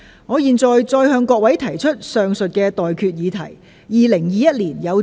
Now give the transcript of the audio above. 我現在向各位提出上述待決議題。